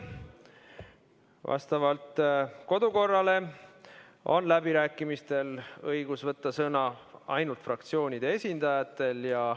Vastavalt kodukorrale on läbirääkimistel õigus võtta sõna ainult fraktsioonide esindajatel.